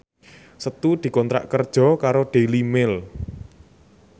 Setu dikontrak kerja karo Daily Mail